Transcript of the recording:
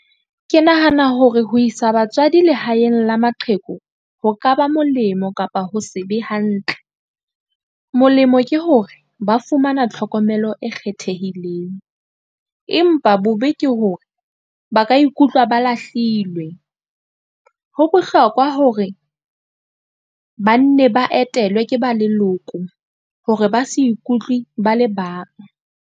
Ke nahana hore ho isa batswadi lehaeng la maqheku, ho ka ba molemo kapa ho se be hantle. Molemo ke hore ba fumana tlhokomelo e kgethehileng, empa bobe ke hore ba ka ikutlwa ba lahlilwe. Ho bohlokwa hore ba nne ba etelwe ke ba leloko hore ba se ikutlwe ba le bang.